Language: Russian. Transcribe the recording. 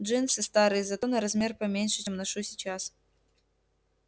джинсы старые зато на размер поменьше чем ношу сейчас